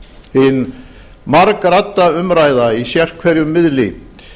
hin margradda umræða í sérhverjum miðli